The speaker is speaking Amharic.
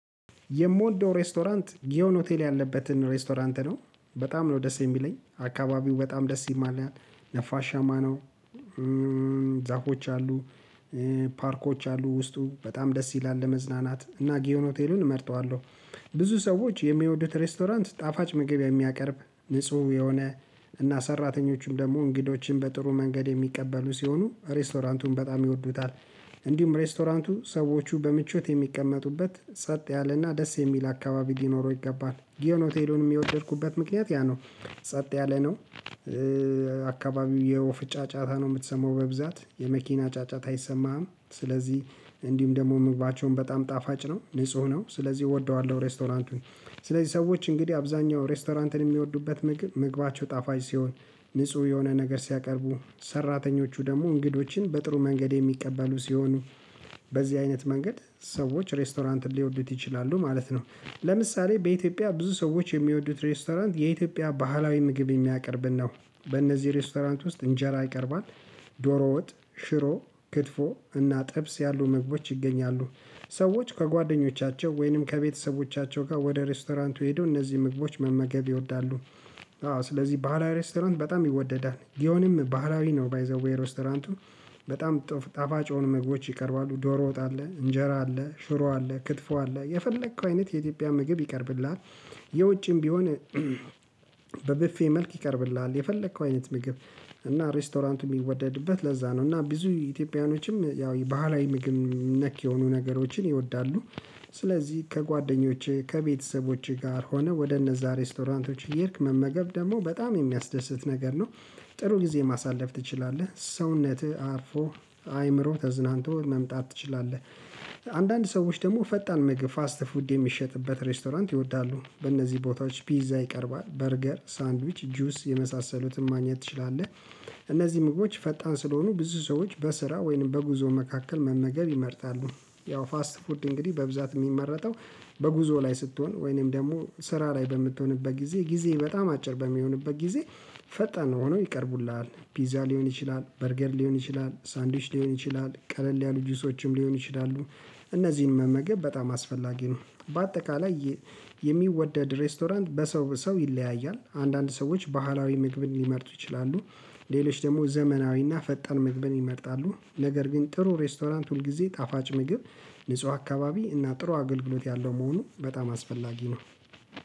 የምወደው ሬስቶራንት ግዮን ሆቴል ያለበትን ሬስቶራንት ነው በጣም ነው ደስ የሚለኝ አካባቢው በጣም ደስ ይማላል ነፋሻማ ነው። ዛፎች አሉ ፓርኮች አሉ ውስጡ በጣም ደስ ይላል ለመዝናናት እና ጊዮን ሆቴልን እመርጠዋለሁ። ብዙ ሰዎች የሚወዱት ሬስቶራንት ጣፋጭ ምግብ የሚያቀርብ ንጹህ የሆነ እና ሰራተኞችም ደግሞ እንግዶችን በጥሩ መንገድ የሚቀበሉ ሲሆኑ ሬስቶራንቱን በጣም ይወዱታል። እንዲሁም ሬስቶራንቱ ሰዎቹ በምቾት የሚቀመጡበት ጸጥ ያለና ደስ የሚል አካባቢ ሊኖረው ይገባል ጊዮን ሆቴሉንም የወደድኩበት ምክንያት ያ ነው። ጸጥ ያለ ነው አካባቢው የወፍ ጫጫታ ነው የምትሰማው በብዛት የመኪና ጫጫታ አይሰማህም። ስለዚህ እንዲሁም ደግሞ ምግባቸውም በጣም ጣፋጭ ነው ንጹህ ነው ስለዚህ እወደዋለሁ። ሬስቶራንቱን ስለዚህ ሰዎች እንግዲህ አብዛኛው ሬስቶራንትን የሚወዱበት ምግብ ምግባቸው ጣፋጭ ሲሆን ንጹህ የሆነ ነገር ሲያቀርቡ ሰራተኞቹ ደግሞ እንግዶችን በጥሩ መንገድ የሚቀበሉ ሲሆኑ በዚህ አይነት መንገድ ሰዎች ሬስቶራንትን ሊወዱት ይችላሉ ማለት ነው። ለምሳሌ በኢትዮጵያ ብዙ ሰዎች የሚወዱት ሬስቶራንት የኢትዮጵያ ባህላዊ ምግብ የሚያቀርብን ነው። በእነዚህ ሬስቶራንት ውስጥ እንጀራ ይቀርባል። ዶሮ ወጥ ሽሮ ክትፎ እና ጥብስ ያሉ ምግቦች ይገኛሉ። ሰዎች ከጓደኞቻቸው ወይንም ከቤተሰቦቻቸው ጋር ወደ ሬስቶራንቱ ሄደው እነዚህን ምግቦች መመገብ ይወዳሉ። አዎ ስለዚህ ባህላዊ ሬስቶራንት በጣም ይወደዳል ግዮንም ባህላዊ ነው ባይዘዌይ ሬስቶራንቱ በጣም ጣፋጭ የሆኑ ምግቦች ይቀርባሉ ዶሮ ወጣ አለ እንጀራ አለ ሽሮ አለ ክትፎ አለ የፈለከው አይነት የኢትዮጵያ ምግብ ይቀርብልሃል። የውጭም ቢሆን በብፌ መልክ ይቀርብልሃል የፈለከው አይነት ምግብ እና ሬስቶራንቱ የሚወደድበት ለዛ ነው እና ብዙ ኢትዮጵያኖችም ያው ባህላዊ ምግብ ነክ የሆኑ ነገሮችን ይወዳሉ። ስለዚህ ከጓደኞቼ ከቤተሰቦቼ ጋር ሆነህ ወደ እነዛ ሬስቶራንቶች እየሄድክ መመገብ ደግሞ በጣም የሚያስደስት ነገር ነው። ጥሩ ጊዜ ማሳለፍ ትችላለህ ሰውነትህ አርፎ አይምሮ ተዝናንቶ መምጣት ትችላለህ። አንዳንድ ሰዎች ደግሞ ፈጣን ምግብ ፋስት ፉድ የሚሸጥበት ሬስቶራንት ይወዳሉ በእነዚህ ቦታዎች ፒዛ ይቀርባል በርገር ሳንድዊች ጁስ የመሳሰሉትን ማግኘት ትችላለህ። እነዚህ ምግቦች ፈጣን ስለሆኑ ብዙ ሰዎች በስራ ወይንም በጉዞ መካከል መመገብ ይመርጣሉ። ያው ፋስት ፉድ እንግዲህ በብዛት የሚመረጠው በጉዞ ላይ ስትሆን ወይንም ደግሞ ስራ ላይ በምትሆንበት ጊዜ ጊዜ በጣም አጭር በሚሆንበት ጊዜ። ፈጣን ሆኖ ይቀርቡልሃል ፒዛ ሊሆን ይችላል በርገር ሊሆን ይችላል ሳንድዊች ሊሆን ይችላል ቀለል ያሉ ጁሶችም ሊሆኑ ይችላሉ። እነዚህን መመገብ በጣም አስፈላጊ ነው በአጠቃላይ የሚወደድ ሬስቶራንት በሰው በሰው ይለያያል አንዳንድ ሰዎች ባህላዊ ምግብን ሊመርጡ ይችላሉ። ሌሎች ደግሞ ዘመናዊና ፈጥን ምግበን ይመርጣሉ ነገር ግን ጥሩ ሬስቶራንት ሁልጊዜ ጣፋጭ ምግብ ንጹህ አካባቢ እና ጥሩ አገልግሎት ያለው መሆኑ በጣም አስፈላጊ ነው